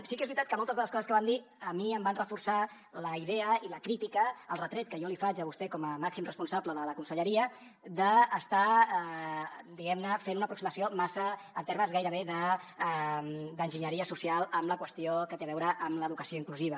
sí que és veritat que moltes de les coses que van dir a mi em van reforçar la idea i la crítica el retret que jo li faig a vostè com a màxim responsable de la conselleria d’estar diguem ne fent una aproximació massa en termes gairebé d’enginyeria social amb la qüestió que té a veure amb l’educació inclusiva